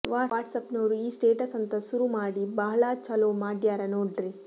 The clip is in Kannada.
ವಾಟ್ಸಾಪ್ನೋರು ಈ ಸ್ಟೇಟಸ್ ಅಂತ ಸುರು ಮಾಡಿ ಭಾಳ ಚಲೋ ಮಾಡ್ಯಾರ ನೋಡ್ರೀ